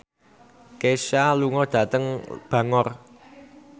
Kesha lunga dhateng Bangor